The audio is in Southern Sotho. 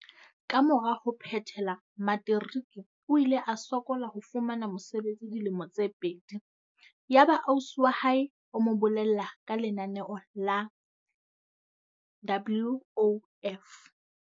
Kamora ho phethela materiki o ile a sokola ho fumana mosebetsi dilemo tse pedi. Yaba ausi wa hae o mo bolella ka lenaneo la WOF.